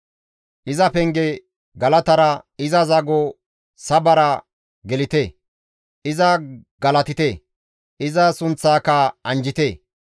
Iza penge galatara, iza zago sabara gelite; iza galatite; iza sunththaaka anjjite.